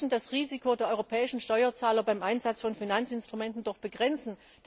Wir müssen das Risiko der europäischen Steuerzahler beim Einsatz von Finanzinstrumenten begrenzen.